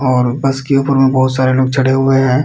और बस के ऊपर में बहुत सारे लोग चढ़े हुए हैं।